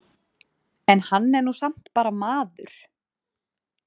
En hann er nú samt bara maður.